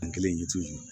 An kelen yiritu